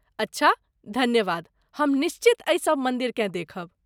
अच्छा, धन्यवाद, हम निश्चित एहि सब मन्दिरकेँ देखब।